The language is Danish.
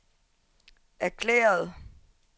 erklærede